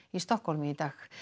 í Stokkhólmi í dag